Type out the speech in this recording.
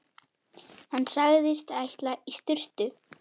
Hann sagðist ætla í sturtu.